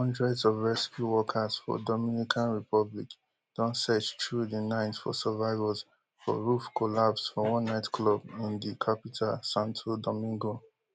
hundreds of rescue workers for dominican republic don search through di night for survivors for roof collapse for one nightclub in di capital santo domingo